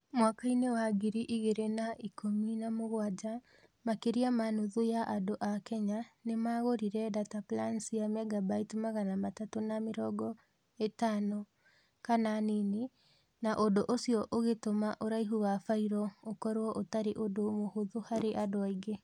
Mwaka-inĩ wa ngiri igĩrĩ na ikũmi na mũgwanja makĩria ma nuthu ya andũ a Kenya nĩ maagũrire data plan cia megabyte magana matatũ na mĩrongo ĩtano kana nini, na ũndũ ũcio ũgĩtũma ũraihu wa failo ũkorũo ũtarĩ ũndũ mũhũthũ harĩ andũ aingĩ.